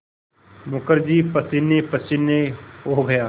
मुखर्जी पसीनेपसीने हो गया